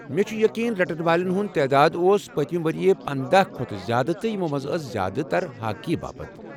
مےٚ چُھ یقیٖن رٹن والین ہٗنٛد تعداد اوس پٔتمہِ ؤرۍ پندَہ کھوتہٕ زیادٕ تہٕ یمو منٛز ٲسہِ زیادٕ تر ہاکی باپت۔